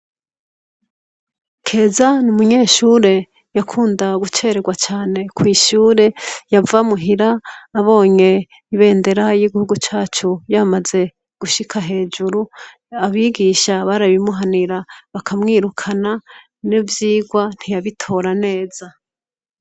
Keza ni umunyeshure yakunda gucererwa cane kw'ishure yava muhira abonye ibendera y'igihugu cacu yamaze gushika hejuru abigisha barabimuhanira bakamwirukana n'ivyirwa ntiyabitora neza.